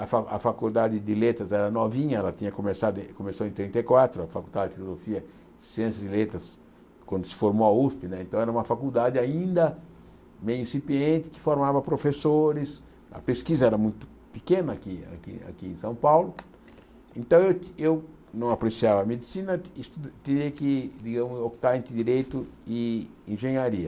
A Fa a Faculdade de Letras era novinha, ela tinha começado em começou em trinta e quatro, a Faculdade de Filosofia, Ciências de Letras, quando se formou a Usp né, então era uma faculdade ainda meio incipiente, que formava professores, a pesquisa era muito pequena aqui aqui aqui em São Paulo, então eu eu não apreciava Medicina e teria digamos que optar entre Direito e Engenharia.